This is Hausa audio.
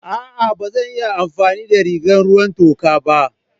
A'a ba zan iya amfani da rigar ruwan toka ba.